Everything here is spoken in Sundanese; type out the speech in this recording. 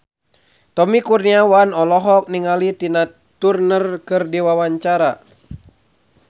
Tommy Kurniawan olohok ningali Tina Turner keur diwawancara